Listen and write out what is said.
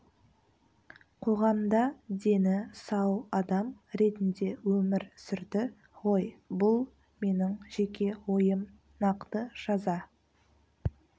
қоғамда дені сау адам ретінде өмір сүрді ғой бұл менің жеке ойым нақты жаза